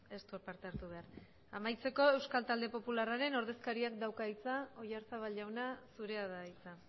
ez du parte hartu behar amaitzeko euskal taldearen popularraren ordezkariak dauka hitza oyarzabal jaunak zurea da hitza